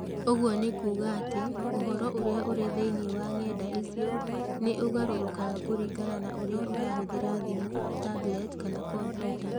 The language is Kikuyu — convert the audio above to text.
Ũguo nĩ kuuga atĩ ũhoro ũrĩa ũrĩ thĩinĩ wa ng’enda icio nĩ ũgarũrũkaga kũringana na ũrĩa ũrahũthĩra thimũ, tablet, kana kompiuta.